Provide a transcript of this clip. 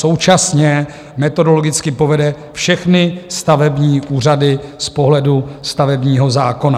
Současně metodologicky povede všechny stavební úřady z pohledu stavebního zákona.